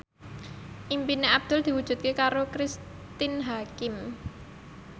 impine Abdul diwujudke karo Cristine Hakim